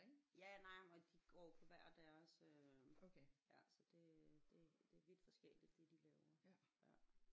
Ja nej og de går jo på hver deres øh ja så det det det er vildt forskelligt det de laver ja